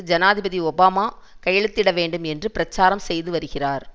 ஜனாதிபதி ஒபாமா கையெழுத்திட வேணடும் என்று பிரச்சாரம் செய்து வருகிறார்